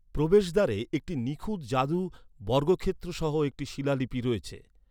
প্রবেশদ্বারে একটি নিখুঁত জাদু বর্গক্ষেত্র সহ একটি শিলালিপি রয়েছে।